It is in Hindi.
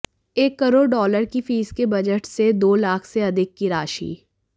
एक करोड़ डॉलर की फीस के बजट से दो लाख से अधिक की राशि